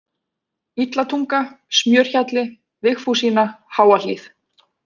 Illatunga, Smjörhjalli, Vigfúsína, Háahlíð